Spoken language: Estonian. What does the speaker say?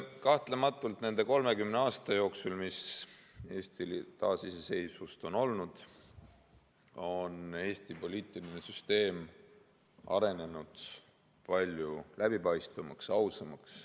Kahtlematult on nende 30 aasta jooksul, mis Eestil taas iseseisvust on olnud, Eesti poliitiline süsteem arenenud palju läbipaistvamaks ja ausamaks.